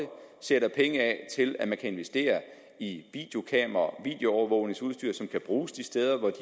sætter penge af til at man kan investere i videokameraer og videoovervågningsudstyr som kan bruges de steder hvor